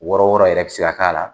Wɔɔrɔ wɔɔrɔ yɛrɛ bi se ka k'a la.